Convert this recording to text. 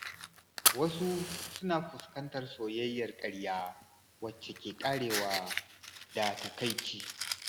Wasu suna fuskantar soyayyar ƙarya, wacce ke ƙarewa da takaici.